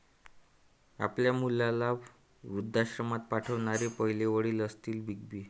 आपल्या मुलाला वृद्धाश्रमात पाठवणारे पहिले वडील असतील बिग बी